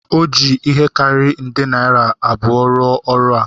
O ji ihe karịrị nde naira abụọ rụọ ọrụ a